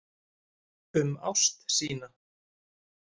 Um ást sína.